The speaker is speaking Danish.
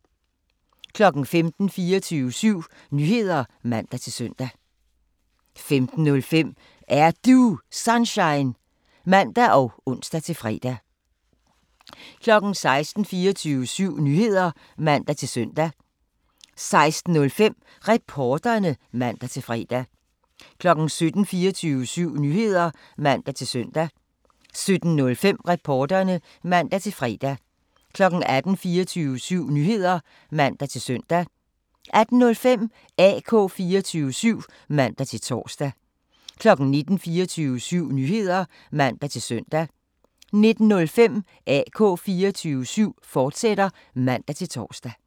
15:00: 24syv Nyheder (man-søn) 15:05: Er Du Sunshine? (man og ons-fre) 16:00: 24syv Nyheder (man-søn) 16:05: Reporterne (man-fre) 17:00: 24syv Nyheder (man-søn) 17:05: Reporterne (man-fre) 18:00: 24syv Nyheder (man-søn) 18:05: AK 24syv (man-tor) 19:00: 24syv Nyheder (man-søn) 19:05: AK 24syv, fortsat (man-tor)